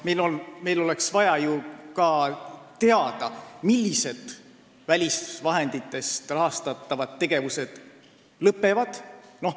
Meil oleks vaja ka teada, millised välisvahenditest rahastatavad tegevused lõpevad.